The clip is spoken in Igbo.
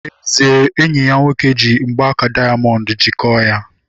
N'ezie, enyi ya nwoke ji mgbaaka dayamondu jikọọ ya